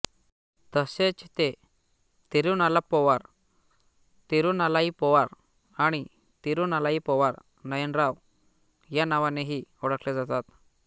तसेच ते तिरुनालाप्पोवर तिरुनालाइप्पोवार आणि तिरु नालाई पोवार नयनार या नावानेही ओळखले जातात